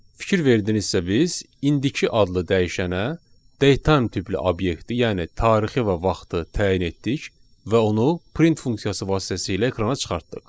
Fikir verdinizsə biz indiki adlı dəyişənə datetime tipli obyekti, yəni tarixi və vaxtı təyin etdik və onu print funksiyası vasitəsilə ekrana çıxartdıq.